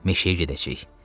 Meşəyə gedəcəyik.